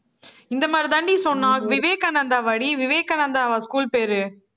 இந்த மாதிரிதாண்டி சொன்னா. விவேகானந்தா வாடி, விவேகானந்தாவா school பேரு?